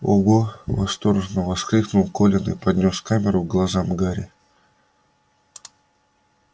ого восторженно воскликнул колин и поднёс камеру к глазам гарри